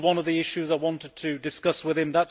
This was one of the issues I wanted to discuss with him.